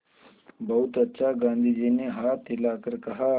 बहुत अच्छा गाँधी जी ने हाथ हिलाकर कहा